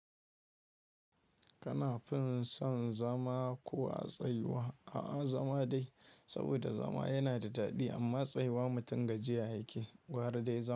Kana fin son zama ko a tsayuwa? A'a, zama dai saboda zama yana da daɗi amma tsayuwa mutum gajiya yake. Gwara dai zama.